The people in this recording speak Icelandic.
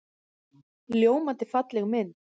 Ljómandi falleg mynd.